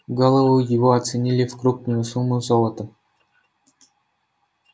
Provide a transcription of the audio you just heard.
голову его оценили в крупную сумму золотом